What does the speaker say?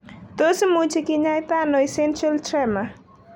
Tos imuchi kinyaita ano essential tremor?